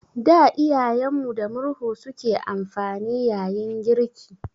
Da Iyayen mu da murhu su ke amfani yayin girki.